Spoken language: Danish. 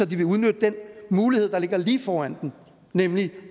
de vil udnytte den mulighed der ligger lige foran dem nemlig